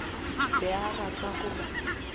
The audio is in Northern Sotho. be a rata go ba